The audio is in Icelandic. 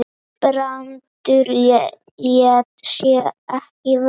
Brandur lét sem ekkert væri.